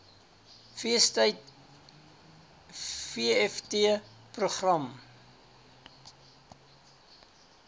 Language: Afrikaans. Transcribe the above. feestyd vft program